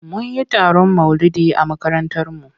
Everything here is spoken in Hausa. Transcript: Mun yi taron maulidi a makarantarmu.